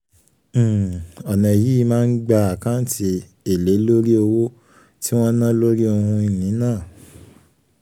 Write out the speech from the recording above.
um ọ̀nà yìí máa ń gba àkáǹtí èlé lórí owó tí wọ́n ná lórí ohun ìní náà.